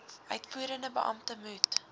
uitvoerende beampte moet